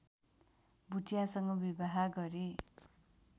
भुटियासँग विवाह गरे